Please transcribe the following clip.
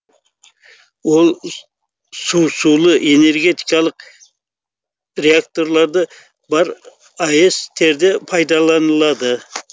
ол су сулы энергетикалық реакторларды бар аэс терде пайдаланылады